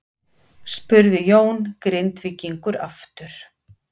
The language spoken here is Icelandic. spurði Jón Grindvíkingur aftur.